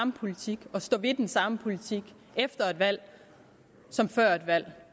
politik og stå ved den samme politik efter et valg som før et valg